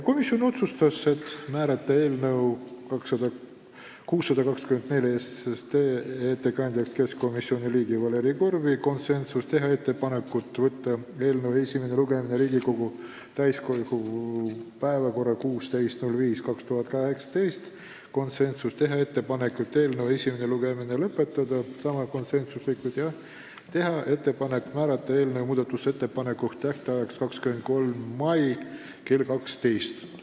Komisjon otsustas määrata eelnõu 624 ettekandjaks keskkonnakomisjoni liikme Valeri Korbi , teha ettepaneku võtta eelnõu esimene lugemine Riigikogu täiskogu päevakorda 16.05.2018 , teha ettepaneku eelnõu esimene lugemine lõpetada ja määrata muudatusettepanekute tähtajaks 23. mai kell 12 .